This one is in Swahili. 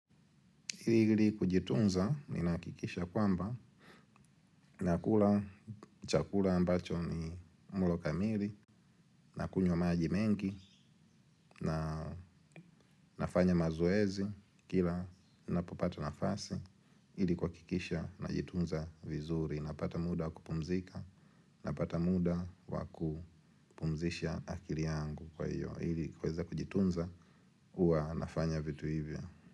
Ili kujitunza, ninahakikisha kwamba, nakula chakula ambacho ni mlo kamili. Nakunywa maji mengi, na nafanya mazoezi kila ninapopata nafasi ili kuhakisha najitunza vizuri. Napata muda wa kupumzika. Napata muda wa kupumzisha akili yangu. Kwa hiyo, ili kuweza kujitunza huwa nafanya vitu hivyo.